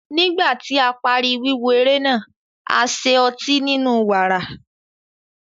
Nígbà tí a parí wíwo eré náà, a ṣe ótì ninu wààrà.